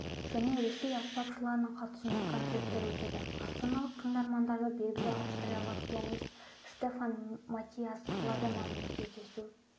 және ресей аспапшыларының қатысуымен концерттер өтеді астаналық тыңдармандарды белгілі австриялық пианист штефан матиас ладеманмен кездесу